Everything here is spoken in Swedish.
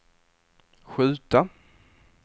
skjuta